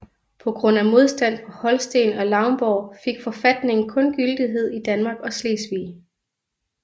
På grund af modstand fra Holsten og Lauenborg fik forfatningen kun gyldighed i Danmark og Slesvig